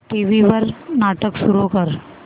TV वर नाटक सुरू कर